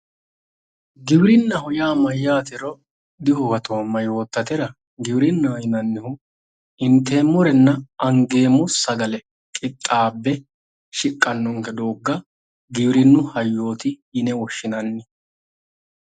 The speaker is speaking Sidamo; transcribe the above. Giwirinnaho yaa mayyatero dihuwatoomma yoottatera giwirinnaho yineemmohu inteemmorenna angeemmo sagale qixxaabbe shiqqannonke doogga giwirinnu hayyooti yine woshshinanni.